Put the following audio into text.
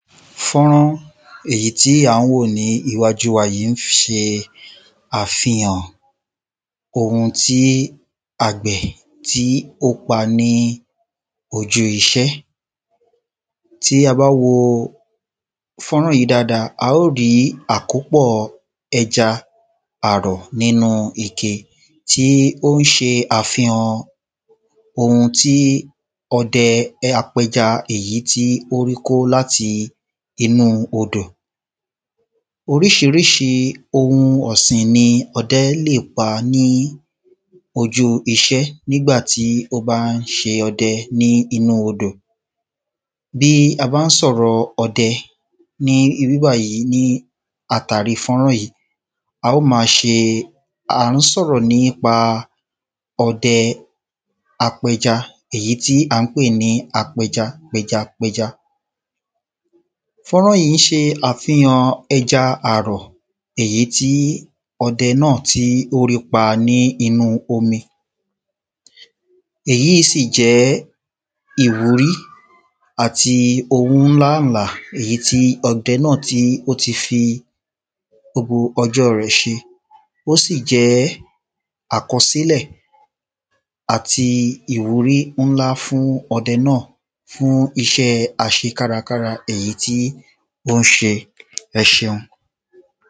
Fọ́nrán èyí tí à ń wò ní iwájú wa yí ń se àfihàn ohun tí àgbẹ̀ tí ó pa ní ojú iṣẹ́. Tí a bá wo fọ́nrán yí dada, a ó rí àkópọ̀ ẹja àrọ̀ nínú ike. Tí ó ń ṣe àfihan ohun tí ọdẹ apẹja èyí tí ó rí kó láti inú odò. Oríṣiríṣi ohun ọ̀sìn ni ọdẹ́ lè pa ní ojú iṣẹ́ nígbà tí ó bá ń ṣe ọdẹ ní inú odò. Bí a bá ń sọ̀rọ̀ ọdẹ ní ibí bàyí ní àtàrí fọ́nrán yí A ó ma ṣe a ̀ ń sọ̀rọ̀ nípa ọdẹ apẹja. Èyí tí à ń pè ní apẹja pẹjapẹja. Fọ́nrán yí ń ṣe àfihan ẹja àrọ̀ èyí tí ọdẹ náà tí ó rí pa nínú omi. Èyí sì jẹ́ ìwúrí àti ohun ńlá ńlà èyí tí ọdẹ náà tí ó ti fi gbobo ọjọ́ rẹ̀ ṣe. Ó sì jẹ́ àkọsílẹ̀ àti ìwúrí ńlá fún ọdẹ náà. Fún iṣẹ́ àṣekárakára èyí tí ó ń ṣe. Ẹ ṣeun.